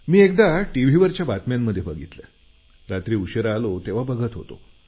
मी एकदा टीव्हीवरच्या बातम्यांमध्ये बघितलं रात्री उशिरा आलो तेव्हा बघत होतो